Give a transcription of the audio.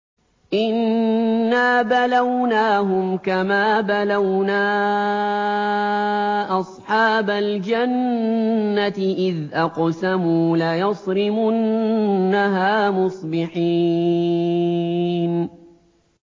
إِنَّا بَلَوْنَاهُمْ كَمَا بَلَوْنَا أَصْحَابَ الْجَنَّةِ إِذْ أَقْسَمُوا لَيَصْرِمُنَّهَا مُصْبِحِينَ